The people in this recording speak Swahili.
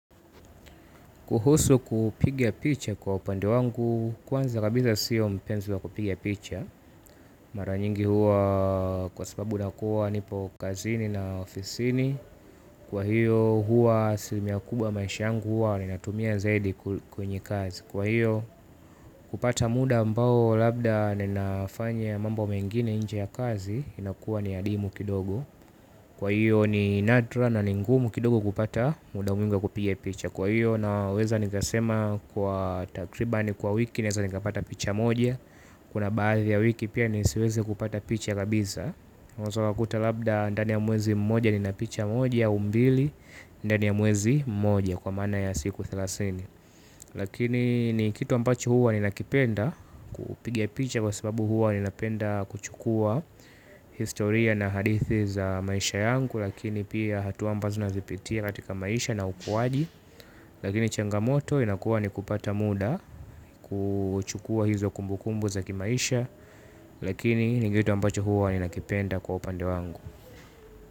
Kuhusu kupiga picha kwa upande wangu kwanza kabisa siyo mpenzi wa kupigia picha. Mara nyingi huwa kwa sababu nakua nipo kazini na ofisini. Kwa hiyo huwa asilimia kubwa maisha yangu huwa ninatumia zaidi kwenye kazi. Kwa hiyo kupata muda ambao labda ninafanya mambo mengine inje ya kazi inakuwa ni adimu kidogo. Kwa hiyo ni nadra na ni ngumu kidogo kupata muda mwingi wa kupigia picha. Kwa hiyo naweza nikasema kwa takribani kwa wiki ninaweza nikapata picha moja. Kuna baadhi ya wiki pia nisiweze kupata picha kabisa unaweza ukakuta labda ndani ya mwezi mmoja nina picha moja au mbili ndani ya mwezi mmoja kwa mana ya siku thelathini. Lakini ni kitu ambacho huwa ninakipenda. Upigia picha kwa sababu huwa ninapenda kuchukua historia na hadithi za maisha yangu lakini pia hatua ambazo nazipitia katika maisha na ukuwaji lakini changamoto inakuwa ni kupata muda kuchukua hizo kumbukumbu za kimaisha. Lakini ni kitu ambacho huwa ninakipenda kwa upande wangu.